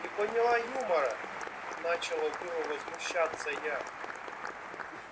не поняла юмора начала было возмущаться я